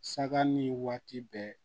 Saga ni waati bɛɛ